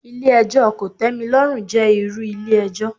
Ilé ẹjọ́ kòtẹ́milọ́rùn jẹ́ irú ilé ẹjọ́.